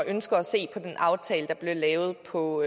ønsker at se på den aftale der er blevet lavet på